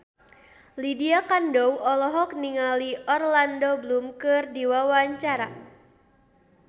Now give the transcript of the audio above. Lydia Kandou olohok ningali Orlando Bloom keur diwawancara